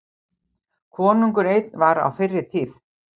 Konungur einn var á fyrri tíð.